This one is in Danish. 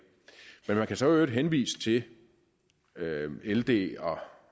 men man kan jo så i øvrigt henvise til ld og